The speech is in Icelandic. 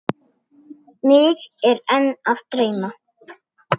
Mig er enn að dreyma.